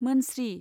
मोनस्रि।